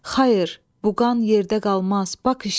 Xayır, bu qan yerdə qalmaz, bax işdə.